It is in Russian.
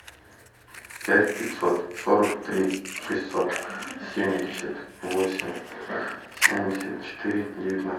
пять пятьсот сорок три шестьсот семьдесят восемь семьдесят четыре девятнадцать